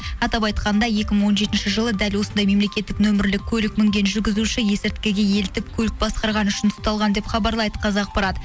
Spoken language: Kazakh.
атап айтқанда екі мың он жетінші жылы дәл осындай мемлекеттік нөмірлі көлік мінген жүргізуші есірткіге елітіп көлік басқарғаны үшін ұсталған деп хабарлайды қазақпарат